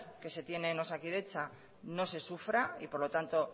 que se tiene en osakidetza no se sufra y por lo tanto